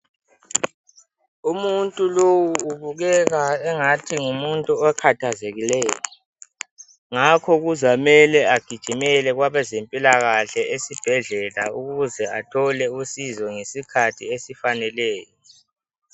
Umuntu lowu ubukeka engathi ngumuntu okhathazekileyo, ngakho kuzamele agijimele kwabazempilakhahle esibhedlela ukuze athole usizo ngesikhathi esifaneleyo.